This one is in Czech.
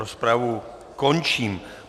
Rozpravu končím.